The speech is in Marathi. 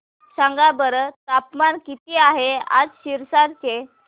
सांगा बरं तापमान किती आहे आज सिरसा चे